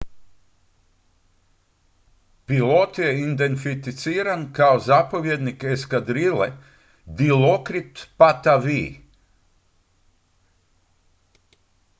pilot je identificiran kao zapovjednik eskadrile dilokrit pattavee